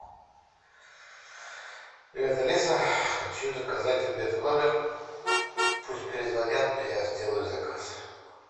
привет алиса хочу заказать обед в номер пусть перезвонят мне я сделаю заказ